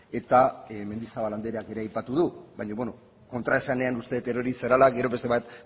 eta mendizabal andreak ere aipatu du baino beno kontraesanean uste det erori zarela gero beste bat